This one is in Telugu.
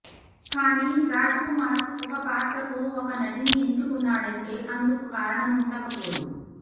కానీ రాజ్ కుమార్ ఒక పాత్రకు ఒక నటిని ఎంచుకున్నాడంటే అందుకు కారణం ఉండకపోదు